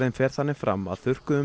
fer þannig fram að þurrkuðum